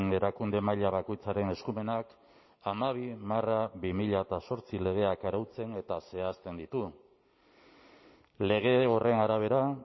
erakunde maila bakoitzaren eskumenak hamabi barra bi mila zortzi legeak arautzen eta zehazten ditu lege horren arabera